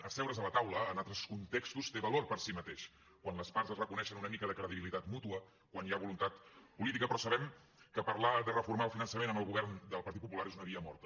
asseure’s a la taula en altres contextos té valor per si mateix quan les parts es reconeixen una mica de credibilitat mútua quan hi ha voluntat política però sabem que parlar de reformar el finançament amb el govern del partit popular és una via morta